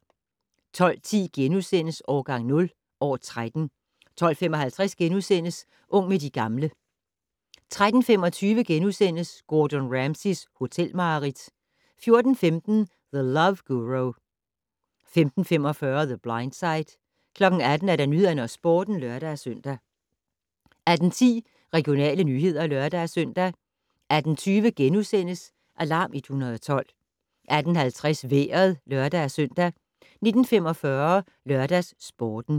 12:10: Årgang 0 - år 13 * 12:55: Ung med de gamle * 13:25: Gordon Ramsays hotelmareridt * 14:15: The Love Guru 15:45: The Blind Side 18:00: Nyhederne og Sporten (lør-søn) 18:10: Regionale nyheder (lør-søn) 18:20: Alarm 112 * 18:50: Vejret (lør-søn) 19:45: LørdagsSporten